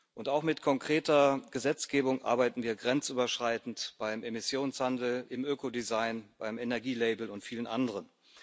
Und auch mit konkreter Gesetzgebung arbeiten wir grenzüberschreitend beim Emissionshandel, im Ökodesign, beim Energielabel und vielen anderen.